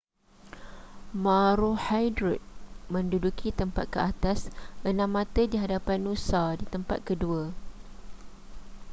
maroochydore menduduki tempat keatas enam mata di hadapan noosa di tempat kedua